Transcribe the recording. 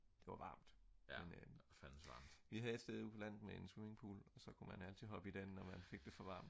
det var varmt men vi havde et sted ude på landet med en swimming pool og så kunne man altid hoppe i den hvis man fik det for varmt